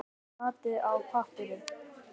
Saltið vel og piprið.